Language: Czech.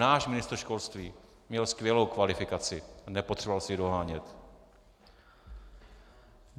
Náš ministr školství měl skvělou kvalifikaci, nepotřeboval si ji dohánět.